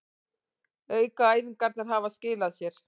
Aukaæfingarnar hafa skilað sér